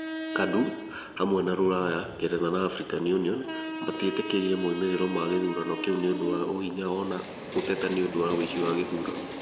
KADU, hamwe na rũraya ,Ngeretha , na Africa Union, matietĩkĩrĩte moimĩrĩro ma gĩthurano kĩu nĩ ũndũ wa ũhinya na o na gũteta nĩ ũndũ wa ũici wa gĩthurano.